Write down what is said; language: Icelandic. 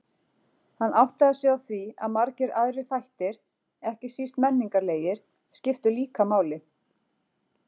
Hann áttaði sig á því að margir aðrir þættir, ekki síst menningarlegir, skiptu líka máli.